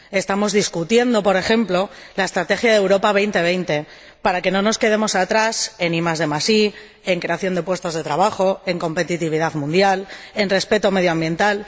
Estamos discutiendo, por ejemplo, la Estrategia de Europa 2020, para que no nos quedemos atrás en IDI, en creación de puestos de trabajo, en competitividad mundial, en respeto medioambiental.